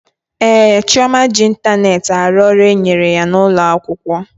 Ee, Chioma ji ịntanetị arụ ọrụ e nyere ya n'ụlọ akwụkwọ